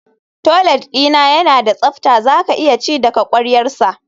Toilet dina yana da tsafta zaka iya ci daga kwaryarsa